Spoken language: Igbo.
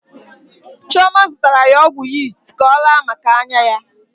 Chioma zụtara ya ọgwụ yist ka ọ raa maka anya ya.